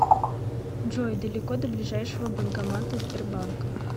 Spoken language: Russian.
джой далеко до ближайшего банкомата сбербанка